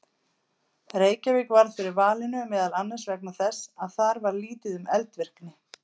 Reykjavík varð fyrir valinu meðal annars vegna þess að þar var lítið um eldvirkni.